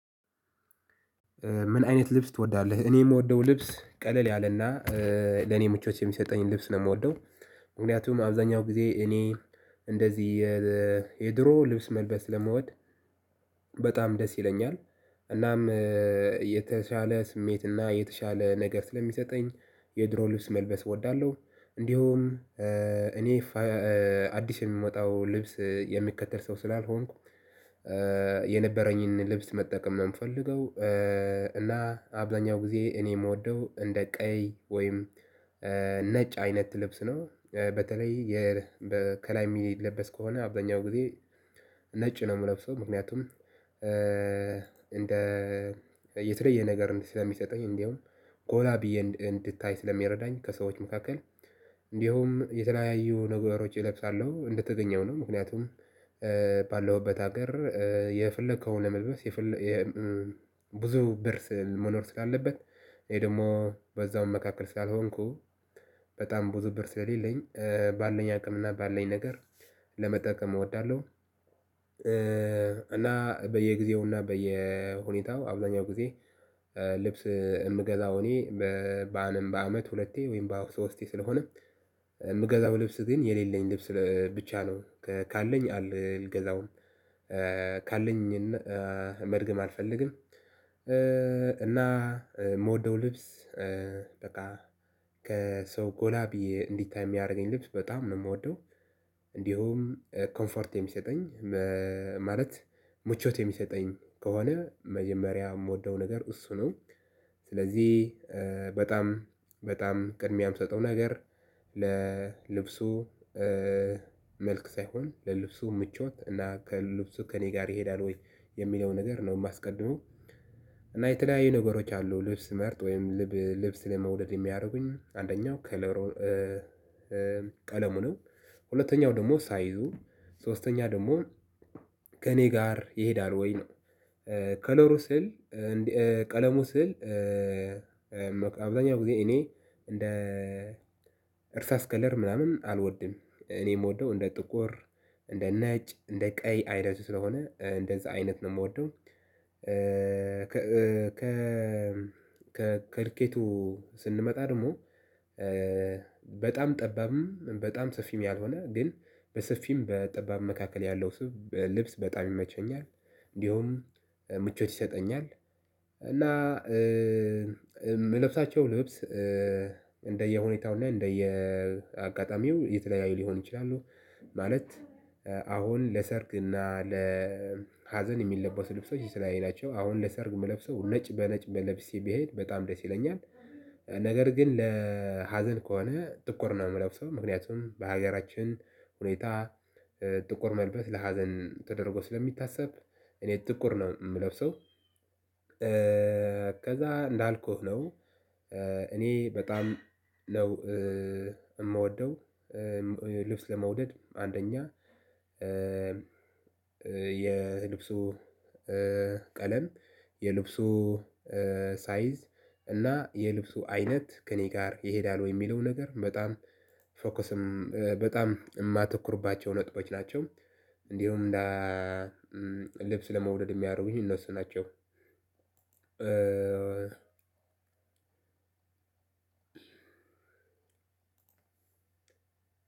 ምን አይነት ልብስ ትወዳለህ? እኔ የምወደው ልብስ ቀለል ያለና ለኔ ምቾት የሚሰጠኝ ልብስ ነው። እምወደው ምክንያቱም አብዛኛው ጊዜ እኔ እንደዚህ የድሮ ልብስ መልበስ ስለምወድ። በጣም ደስ ይለኛል። እናም የተሻለ ስሜት እና የተሻለ ነገር ስለሚሰጠኝ የድሮ ልብስ መልበስ እወዳለሁ እንዲሁም እኔ አዲስ የሚወጣው ልብስ የሚከተል ሰው ስላልሆንኩ። የነበረኝን ልብስ መጠቀም ነው የምፈልገው። እና አብዛኛው ጊዜ እኔ እምወደው እንደ ቀይ ወይም ነጭ አይነት ልብስ ነው በተለይ ከላይ የሚለበስ ከሆነ አብዛኛው ጊዜ ነጭ ነው እምለብሰው። ምክንያቱም እንደ የተለየ ነገር ስለሚሰጠኝ እንዲሁ ጎላ ብዬ እንድታይ ስለሚረዳኝ ከሰዎች መካከል እንዲሁም የተለያዩ ነገሮች እለብሳለሁ እንደተገኘው ነው። ምክንያቱም ባለሁበት ሀገር የፈለከውን መልበስ ብዙ ብር መኖር ስላለበት እኔ ደግሞ በዛውም መካከል ስላልሆንኩ በጣም ብዙ ብር ስለሌለኝ ባለኝ አቅምና ባለኝ ነገር ለመጠቀም እወዳለሁ። እና በየጊዜው እና በየሁኔታው አብዛኛው ጊዜ ልብስ እምገዛው እኔ በአንም በአመት ሁለቴ ወይም በአመት ሶስቴ ስለሆነ እምገዛው ልብስ ግን የሌለኝ ልብስ ብቻ ነው ካለኝ አልገዛውም። ካለኝ መድገም አልፈልግም። እና የምወደው ልብስ በቃ ከሰው ጎላ በዬ እንዲታይ የሚያደርገኝ ልብስ በጣም ነው እምወደው። እንዲሁም ኮምፈርት የሚሰጠኝ ማለት ምቾት የሚሰጠኝ ከሆነ መጀመሪያ እምወደው ነገር እሱ ነው። ስለዚህ በጣም በጣም ቅድሚያ እምሰጠው ነገር ለልብሱ መልክ ሳይሆን ለልብሱ ምቾት እና ከልብሱ ከእኔ ጋር ይሄዳል ወይ የሚለው ነገር ነው የማስቀድመው። እና የተለያዩ ነገሮች አሉ ልብስ ስመርጥ ወይም ልብስ ለመውደድ የሚያደርጉኝ አንደኛው ከለሩ ቀለሙ ነው። ሁለተኛው ደግሞ ሳይዙ ሶስተኛ ደግሞ ከእኔ ጋር ይሄዳል ወይ ነው። ከለሩ ስል ቀለሙ ስል አብዛኛው ጊዜ እኔ እንደ እርሳስ ከለር ምናምን አልወድም እኔ የምወደው እንደ ጥቁር እንደ ነጭ እንደ ቀይ አይነቱ ስለሆነ እንደዛ አይነት ነው እምወደው። ከ ከልኬቱ ስንመጣ ደግሞ በጣም ጠባብም በጣም ሰፊም ያልሆነ ግን በሰፊም በጠባብ መካከል ያለው ስብ ልብስ በጣም ይመቸኛል። እንዲሁም ምቾት ይሰጠኛል። እና ምለብሳቸው ልብስ እንደየሁኔታው እና እንደየአጋጣሚው የተለያየ ሊሆን ይችላሉ። ማለት አሁን ለሰርግና ለሀዘን የሚለበሱ ልብሶች የተለያዩ ናቸው። አሁን ለሰርግ እምለብሰው ነጭ በነጭ በለብሼ ብሄድ በጣም ደስ ይለኛል። ነገር ግን ለሀዘን ከሆነ ጥቁር ነው የምለብሰው ምክንያቱም በሀገራችን ሁኔታ ጥቁር መልበስ ለሀዘን ተደርጎ ስለሚታሰብ እኔ ጥቁር ነው እምለብሰው። ከዛ እንዳልኩህ ነው እኔ በጣም ነው እምወደው ልብስ ለመውደድ አንደኛ የልብሱ ቀለም የልብሱ ሳይዝ እና የልብሱ አይነት ከእኔ ጋር ይሄዳል ወይ የሚለው ነገር በጣም ፎከስም በጣም እማተኩርባቸው ነጥቦች ናቸው። እንዲሁም ልብስ ለመውደድ የሚያደርጉኝ እነሱ ናቸው። እኔም እኮ